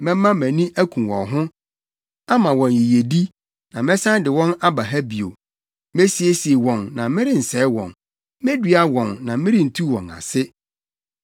Mɛma mʼani aku wɔn ho, ama wɔn yiyedi, na mɛsan de wɔn aba ha bio. Mesiesie wɔn na merensɛe wɔn. Medua wɔn, na merentu wɔn ase.